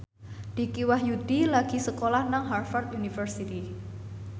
Dicky Wahyudi lagi sekolah nang Harvard university